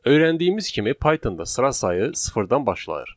Öyrəndiyimiz kimi Pythonda sıra sayı sıfırdan başlayır.